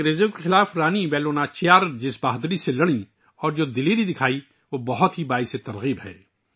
رانی ویلو ناچیار نے جس بہادری سے انگریزوں کے خلاف جنگ لڑی اور جس بہادری کا مظاہرہ کیا وہ بہت متاثر کن ہے